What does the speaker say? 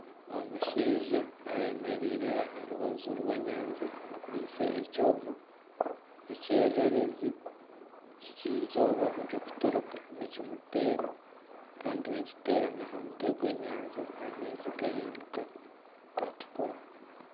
Omushaija ayemereire aha rubaju rw'enyanja akwaitse ekyoma, ekyererezi ky'eizooba ririkuturika nikimuteera kandi nikiteera n'aha mutwe gw'enyanja n'amaizi gahinduka gatukura.